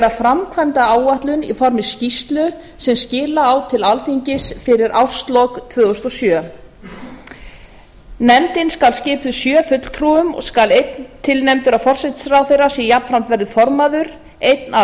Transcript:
framkvæmdaáætlun í formi skýrslu sem skila á til alþingis fyrir árslok tvö þúsund og sjö nefndin skal skipuð sjö fulltrúum og skal einn tilnefndur af forsætisráðherra sem jafnframt verður formaður einn af